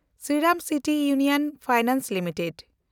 Sriram City Union Finance limited